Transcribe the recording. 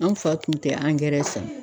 An fa tun tɛ angɛrɛ san.